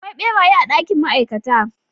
Akwai beraye a dakin ma'aikata.